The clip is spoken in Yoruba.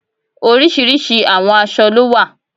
Oríṣiríṣi àwọn aṣọ ló wà